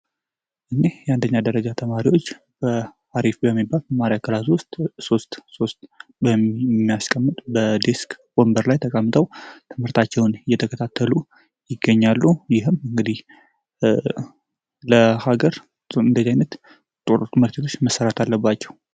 አንደኛ ደረጃ ትምህርት ቤት ተማሪዎች አሪፍ በሚባል ክላስ ሶስት ሶስት በሚያስቀምጥ የዲስ ወንበር ላይ የተቀምጦ ትምህርታቸውን እየተከታተሉ ይገኛሉ ይህም እንግዲህ ለሀገር እድገት ወሳኝ ናቸው።